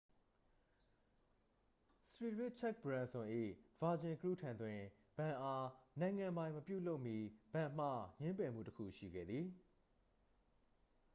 စရီရစ်ချက်တ်ဘရန်စွန် ၏ virgin group ထံတွင် ဘဏ်အား နိုင်ငံပိုင်မပြုလုပ်မီ ဘဏ်မှ ငြင်းပယ်မှုတစ်ခုရှိခဲ့သည်